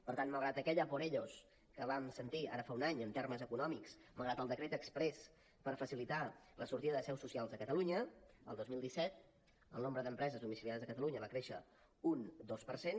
per tant malgrat aquell a por ellos que vam sentir ara fa un any en termes econòmics malgrat el decret exprés per facilitar la sortida de seus socials de catalunya el dos mil disset el nombre d’empreses domiciliades a catalunya va créixer un dos per cent